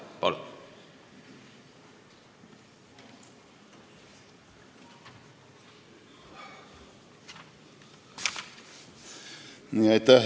Palun!